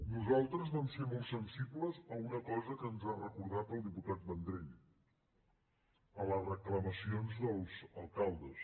nosaltres vam ser molt sensibles a una cosa que ens ha recordat el diputat vendrell a les reclamacions dels alcaldes